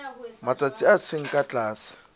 matsatsi a seng ka tlase